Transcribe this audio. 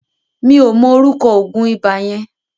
Mi ò mọ ọrúkọ òògùn ibà yẹn.